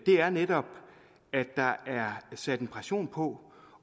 er netop at der er sat en pression på